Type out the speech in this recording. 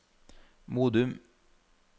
Modum